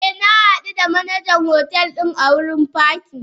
Eh na hadu da Manajan hotel din a wurin pakin.